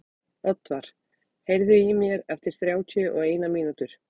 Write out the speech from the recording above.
Oddvar, heyrðu í mér eftir þrjátíu og eina mínútur.